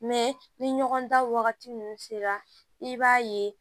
ni ɲɔgɔn da wagati nunnu sera i b'a ye